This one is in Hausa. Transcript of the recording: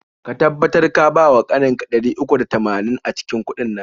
Ka tabbatar ka bawa ƙaninka ɗari uku da tamanin a cikin udin nan.